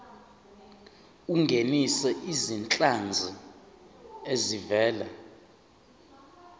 ungenise izinhlanzi ezivela